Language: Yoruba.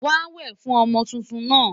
Wàá wè fún ọmọ tuntun náà!